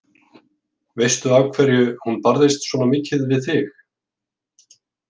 Veistu af hverju hún barðist svona mikið fyrir þig?